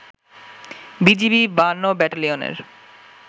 BGB ৫২ ব্যাটালিয়নের